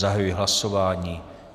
Zahajuji hlasování.